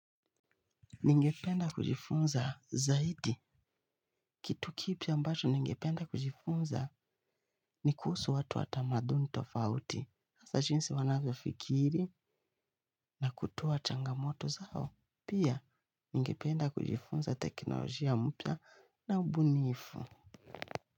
Ningependa kujifunza zaidi. Kitu kipi ambacho ningependa kujifunza, ni kuhusu watu wa tamaduni tofauti. Hasa jinsi wanavyofikiri na kutatua changamoto zao. Pia ningependa kujifunza teknolojia mpya na ubunifu.